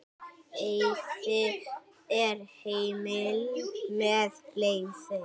Veiði er heimil með leyfi.